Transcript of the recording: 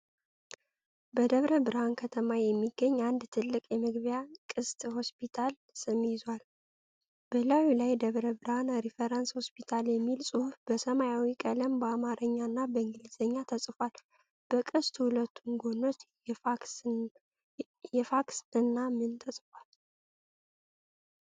በደብረ ብርሃን ከተማ የሚገኝ አንድ ትልቅ የመግቢያ ቅስት የሆስፒታልን ስም ይዟል። በላዩ ላይ "ደብረ ብርሃን ሪፈራል ሆስፒታል" የሚል ጽሑፍ በሰማያዊ ቀለም በአማርኛ እና በእንግሊዝኛ ተጽፏል። በቅስቱ ሁለቱም ጎኖች የፋክስ እና ምን ተጽፈዋል?